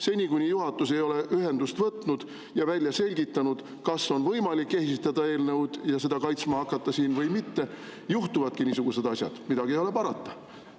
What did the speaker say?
Seni, kuni juhatus ei ole võtnud ühendust ega selgitanud välja, kas on võimalik siin eelnõu esitada ja kaitsta või mitte, juhtuvadki niisugused asjad, midagi ei ole parata.